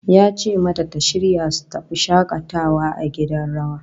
Ya ce mata ta shirya su tafi shakatawa a gidan rawa